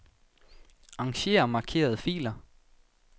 Arranger markerede filer.